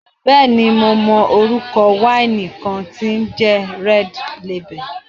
Bẹ́ẹ̀ni mo mọ orúkọ wáìnì kan tí ń jẹ́ Red lebel